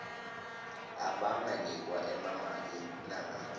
abanganikwa emamaki nangabe